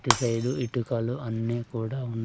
ఇటు సైడ్ ఇటుకల అన్నీ కూడా ఉన్నా--